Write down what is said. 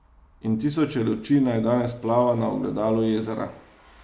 In tisoče luči naj danes plava na ogledalu jezera.